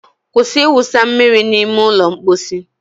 Kwụsị ịwụsa mmiri n'ime ụlọ mposi